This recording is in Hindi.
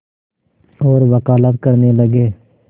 और वक़ालत करने लगे